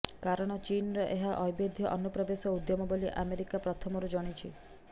କାରଣ ଚୀନର ଏହା ଅବୈଧ ଅନୁପ୍ରବେଶ ଉଦ୍ୟମ ବୋଲି ଆମେରିକା ପ୍ରଥମରୁ ଜଣିଛି